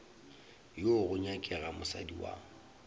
wo go nyakega mosadi wa